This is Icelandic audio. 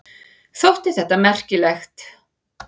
Þótti þetta merkilegt.